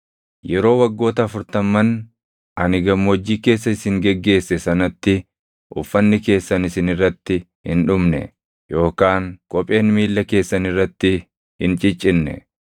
Yeroo waggoota afurtamman ani gammoojjii keessa isin geggeesse sanatti uffanni keessan isin irratti hin dhumne yookaan kopheen miilla keessan irratti hin ciccinne.